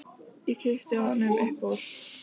Og ég kippi honum upp úr.